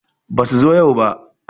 Basu zo yau ba